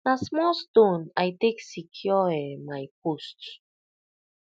na small stone i take secure um my post